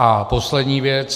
A poslední věc.